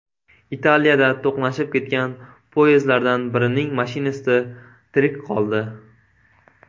Italiyada to‘qnashib ketgan poyezdlardan birining mashinisti tirik qoldi.